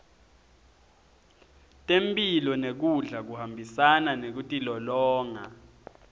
temphilo nekudla kuhambisana nekutilolonga